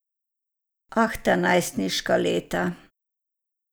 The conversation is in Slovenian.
Ah, ta najstniška leta.